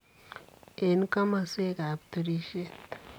En komoswook ab turisiiet.